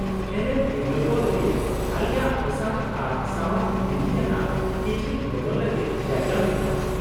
-ᱦᱮᱨᱮᱞ/ᱛᱤᱨᱞᱟᱹ ᱠᱚ ᱞᱟᱹᱜᱤᱫ ᱟᱞᱮᱭᱟᱜ ᱚᱥᱟᱨ ᱟᱨ ᱥᱟᱶᱟᱨ ᱵᱤᱫᱷᱤ ᱟᱱᱟᱜ ᱠᱤᱪᱨᱤᱡ ᱵᱚᱫᱚᱞ ᱞᱟᱹᱜᱤᱫ ᱡᱟᱭᱜᱟ ᱢᱮᱱᱟᱜᱼᱟ ᱾